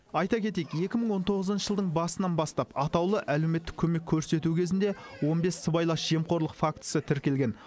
айта кетейік екі мың он тоғызыншы жылдың басынан бастап атаулы әлеуметтік көмек көрсету кезінде он бес сыбайлас жемқорлық фактісі тіркелген